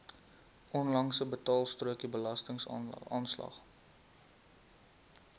onlangse betaalstrokie belastingaanslag